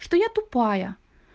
что я тупая